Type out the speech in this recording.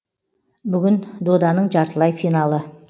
бүгін доданың жартылай финалы